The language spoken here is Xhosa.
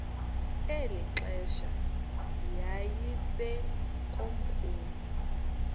eli xesha yayisekomkhulu